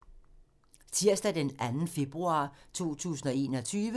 Tirsdag d. 2. februar 2021